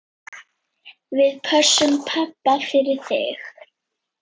Við pössum pabba fyrir þig.